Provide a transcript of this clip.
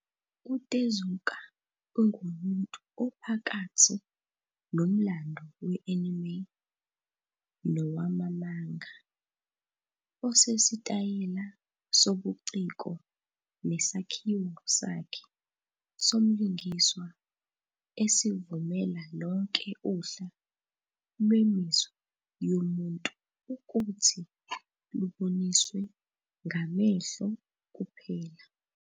UTezuka ungumuntu ophakathi nomlando we-anime nowama manga, onesitayela sobuciko nesakhiwo sakhe somlingiswa esivumela lonke uhla lwemizwa yomuntu ukuthi luboniswe ngamehlo kuphela.